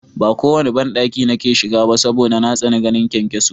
Ba kowanne banɗaki nake shiga ba saboda na tsani ganin kyankyaso